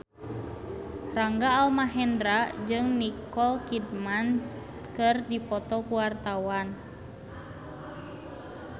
Rangga Almahendra jeung Nicole Kidman keur dipoto ku wartawan